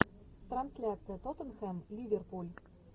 трансляция тоттенхэм ливерпуль